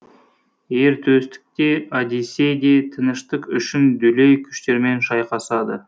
ер төстік те одиссей де тыныштық үшін дүлей күштермен шайқасады